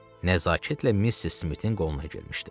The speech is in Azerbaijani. Nəzakətlə Missis Smitin qoluna girmişdi.